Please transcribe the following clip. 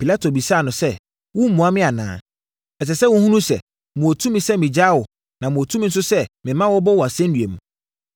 Pilato bisaa no sɛ, “Woremmua me anaa? Ɛsɛ sɛ wohunu sɛ, mewɔ tumi sɛ megyaa wo na mewɔ tumi nso sɛ mema wɔbɔ wo asɛnnua mu!”